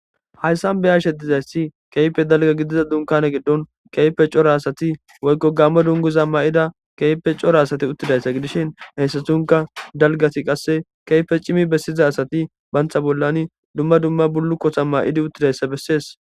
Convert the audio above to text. Hayssan be ashedizayssi keype dalga gidiza dunkane giddon keype cora asati woykko gamma dunguza ma7ida keype cora asati uttidayssa gidishin heyssatunka dalgati qasse keyfe cimi bessiza asati bantha bollani dumma dumma bullukkota ma7idi uttidayssa bessees.